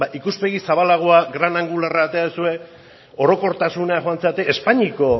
ikuspegi zabalagoa gran angularra atera duzue orokortasunera joan zarete espainiako